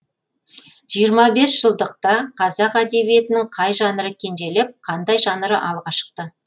жиырма бес жылдықта қазақ әдебиетінің қай жанры кенжелеп қандай жанры алға шықты